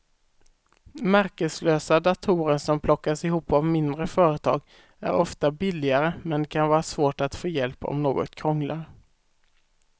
Märkeslösa datorer som plockas ihop av mindre företag är ofta billigare men det kan vara svårt att få hjälp om något krånglar.